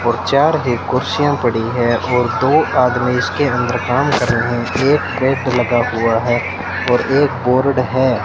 और चार है कुर्सियां पड़ी है और दो आदमी इसके अंदर काम कर रहे हैं एक लगा हुआ है और एक बोर्ड है।